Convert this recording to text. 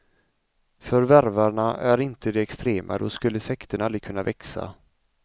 För värvarna är inte de extrema, då skulle sekterna aldrig kunna växa.